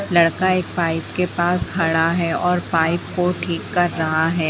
लड़का एक पाइप के पास खड़ा है और पाइप को ठीक कर रहा है।